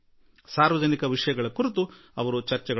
ಸಾರ್ವಜನಿಕ ವಿಷಯಗಳ ಕುರಿತು ಚರ್ಚೆ ನಡೆಸುವರು